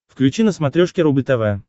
включи на смотрешке рубль тв